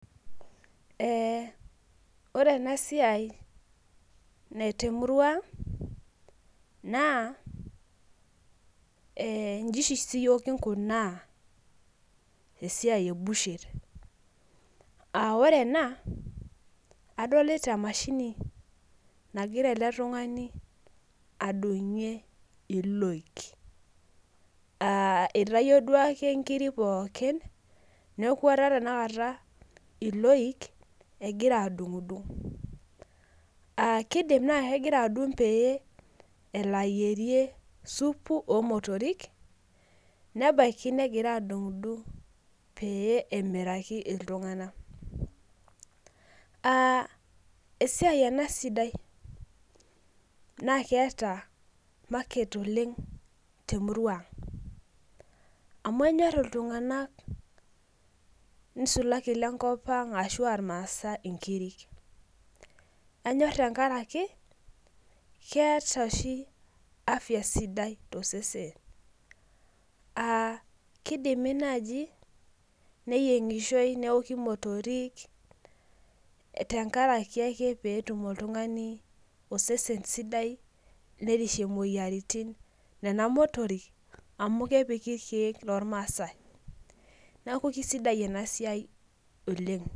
Ore enasiai temurua ang naa inji oshi siiyiok kinkunaa esiai ebucher aa ore ena adolita emashini nagira eletungani adungie iloik aa itayio duake nkiri pookin niaku etaa tenakata iloik ekigira adungdung. Kidim naa kegira adungdung pee elo ayierie supu omotorik nebaiki negira adungdung pee emiraki iltunganak . Aa esiai enasidai naa keeta market oleng temurua amu enyor iltunganak nisulaki ilenkopang ashu irmaasae inkirik , kenyor tenkaraki keeta oshi afya sidai tosesen , aa kidimi naji neyiengishoy neoki motorik tenkaraki ake petum oltungani osesen sidai nerishie moyiaritin nena motorik amu kepiki irkiek loormaase .